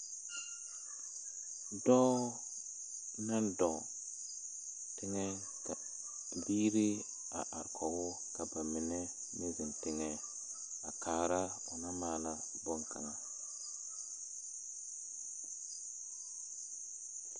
Dɔɔ ne dɔɔ teŋɛ ka biiri are kɔgoo ka bamine meŋ zeŋ teŋɛ a kaara o naŋ maala boŋ kaŋa. 13427